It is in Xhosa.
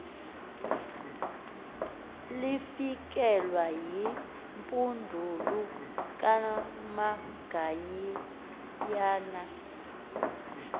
lifikelwe yimpundulu kamagayiyana